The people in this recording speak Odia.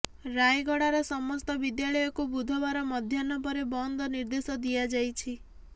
ରାୟଗଡାର ସମସ୍ତ ବିଦ୍ୟାଳୟକୁ ବୁଧବାର ମଧ୍ୟାହ୍ନ ପରେ ବନ୍ଦ ନିର୍ଦ୍ଦେଶ ଦିଆଯାଇଛି